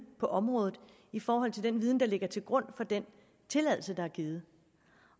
på området i forhold til den viden der ligger til grund for den tilladelse der er givet